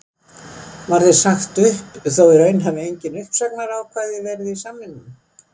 Þér var sagt upp þó í raun hafi engin uppsagnarákvæði verið í samningnum?